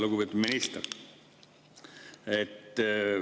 Lugupeetud minister!